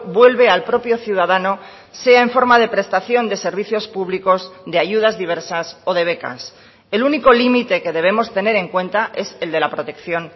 vuelve al propio ciudadano sea en forma de prestación de servicios públicos de ayudas diversas o de becas el único límite que debemos tener en cuenta es el de la protección